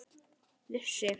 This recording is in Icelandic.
Ég vissi það nú alltaf.